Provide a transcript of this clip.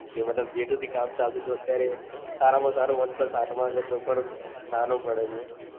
કે જે મતલબ જેતુ થી કામ ચાલતું હતું. અત્યારે સારા માં સારો one plus હાથમાં છે. તો પણ નેનો પડે છે.